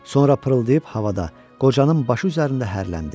Sonra pırıldayıb havada, qocanın başı üzərində hərləndi.